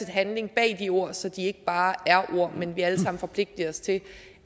handling bag de ord så de ikke bare er ord men vi alle sammen forpligtiger os til